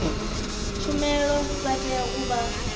tshumelo vha tea u vha